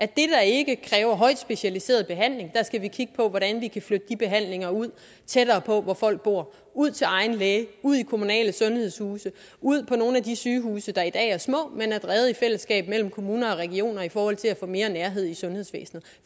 det der ikke kræver højt specialiseret behandling hvordan vi kan flytte de behandlinger ud tættere på hvor folk bor ud til egen læge ud i kommunale sundhedshuse ud på nogle af de sygehuse der i dag er små men er drevet i fællesskab mellem kommuner og regioner i forhold til at få mere nærhed sundhedsvæsenet